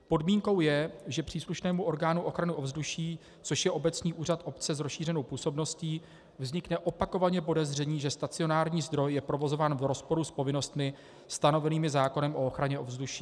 Podmínkou je, že příslušnému orgánu ochrany ovzduší, což je obecní úřad obce s rozšířenou působností, vznikne opakovaně podezření, že stacionární zdroj je provozován v rozporu s povinnostmi stanovenými zákonem o ochraně ovzduší.